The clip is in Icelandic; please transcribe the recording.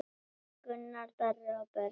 Gunnar Darri og börn.